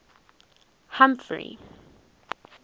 humphrey